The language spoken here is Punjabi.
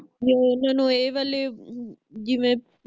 ਵੀ ਓਹਨਾ ਨੂੰ ਏ ਵਾਲੇ ਜਿਵੇ